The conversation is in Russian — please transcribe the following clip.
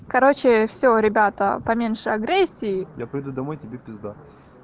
короче все ребята поменьше агрессии я приду домой и тебе пизда